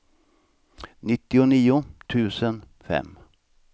nittionio tusen fem